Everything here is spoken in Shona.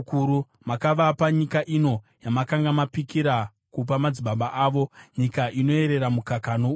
Makavapa nyika ino yamakanga mapikira kupa madzibaba avo, nyika inoyerera mukaka nouchi.